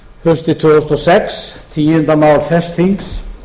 haustið tvö þúsund og sex tíundu mál þess þings